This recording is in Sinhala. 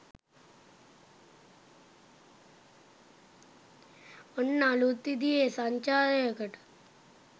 ඔන්න අළුත් විදිහේ සංචාරයකට